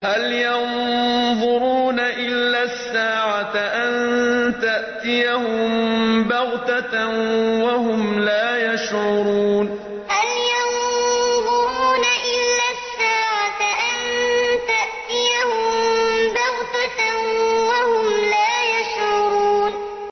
هَلْ يَنظُرُونَ إِلَّا السَّاعَةَ أَن تَأْتِيَهُم بَغْتَةً وَهُمْ لَا يَشْعُرُونَ هَلْ يَنظُرُونَ إِلَّا السَّاعَةَ أَن تَأْتِيَهُم بَغْتَةً وَهُمْ لَا يَشْعُرُونَ